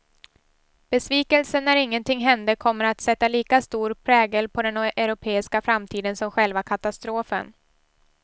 Besvikelsen när ingenting hände kommer att sätta lika stor prägel på den europeiska framtiden som själva katastrofen.